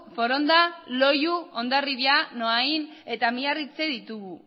foronda loiu hondarribia noain eta miarritze ditugu